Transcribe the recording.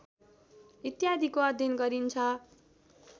इत्यादिको अध्ययन गरिन्छ